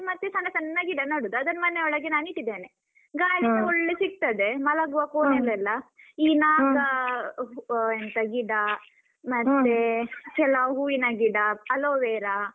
ಮತ್ತೆ ಸಣ್ಣ ಸಣ್ಣ ಗಿಡ ನಡುದು, ಅದನ್ನು ಮನೆ ಒಳಗೆ ನಾನು ಇಟ್ಟಿದ್ದೇನೆ ಗಾಳಿಸ ಒಳ್ಳೆ ಸಿಗ್ತದೆ ಮಲಗುವ ಕೋಣೆಯಲ್ಲೆಲ್ಲಾ ಈ ನಾಕಾ ಆಹ್ ಎಂತ ಗಿಡ ಮತ್ತೆ ಕೆಲವು ಹೂವಿನ ಗಿಡ, Aloevera